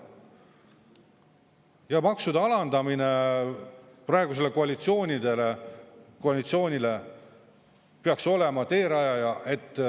Ja maksude alandamine praegusele koalitsioonile peaks olema teerajaja.